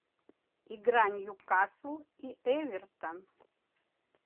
игра ньюкасл и эвертон